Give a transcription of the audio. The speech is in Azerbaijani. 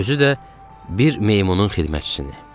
Özü də bir meymunun xidmətçisini.